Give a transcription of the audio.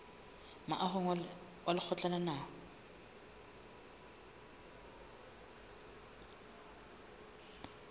moahong wa lekgotla la naha